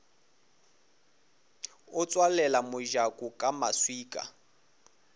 a tswalela mojako ka maswika